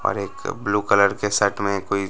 और एक blue colour के शर्ट में कोई--